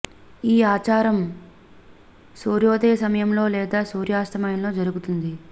ఈ ఆచారం సూర్యోదయ సమయంలో లేదా సూర్యాస్తమయంలో జరుగుతుంది